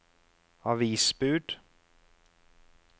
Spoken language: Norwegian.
avisbud